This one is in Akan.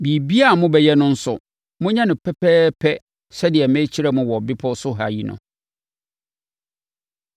Biribiara a mobɛyɛ no nso, monyɛ no pɛpɛɛpɛ sɛdeɛ merekyerɛ mo wɔ bepɔ so ha yi no.